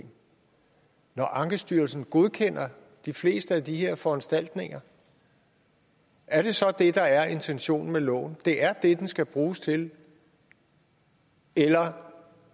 når ankestyrelsen godkender de fleste af de her foranstaltninger er det så det der er intentionen med loven det er det den skal bruges til eller